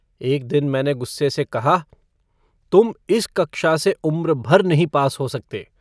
एक दिन मैंने गुस्से से कहा तुम इस कक्षा से उम्र भर नहीं पास हो सकते।